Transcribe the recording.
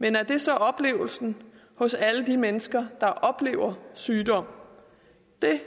men er det så oplevelsen hos alle de mennesker der oplever sygdom det